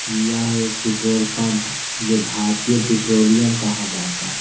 यह एक petrol pump है जो भारतीय पेट्रोलियम कहा जाता।